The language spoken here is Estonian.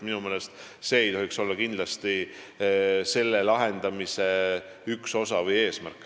Minu meelest ei tohiks see kindlasti olla selle lahenduse üks osa või eesmärk.